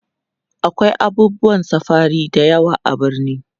akwai abubuwan safari da yawa a birni